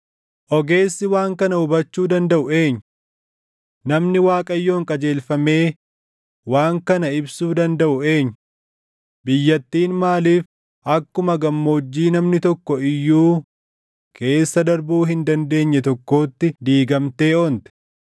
Ogeessi waan kana hubachuu dandaʼu eenyu? Namni Waaqayyoon qajeelfamee waan kana ibsuu dandaʼu eenyu? Biyyattiin maaliif akkuma gammoojjii namni tokko iyyuu keessa darbuu hin dandeenye tokkootti diigamtee onte?